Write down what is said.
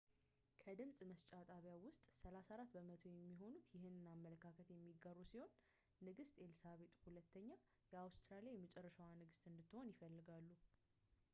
ከድምጽ መስጫ ጣቢያው ውስጥ 34 በመቶ የሚሆኑት ይህንን አመለካከት የሚጋሩ ሲሆን ንግስት ኤልሳቤጥ ii የአውስትራሊያ የመጨረሻዋ ንግስት እንድትሆን ይፈልጋሉ